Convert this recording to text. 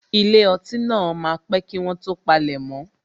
Ilé ọtí náà máa pé kí wọ́n tó palemo